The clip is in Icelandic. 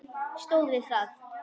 Stóð við það.